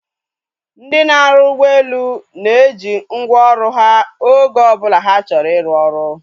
Ndị na-arụ ụgbọelu na-eji ngwa ọrụ ha oge ọbụla ha chọrọ iru ọrụ